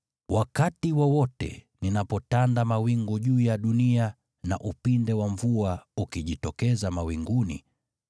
Wakati wowote ninapotanda mawingu juu ya dunia na upinde wa mvua ukijitokeza mawinguni,